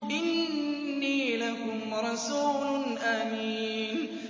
إِنِّي لَكُمْ رَسُولٌ أَمِينٌ